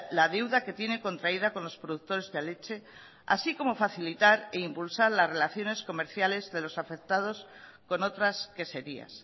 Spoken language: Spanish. la deuda que tiene contraída con los productores de leche así como facilitar e impulsar las relaciones comerciales de los afectados con otras queserías